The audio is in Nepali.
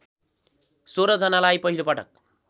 १६ जनालाई पहिलोपटक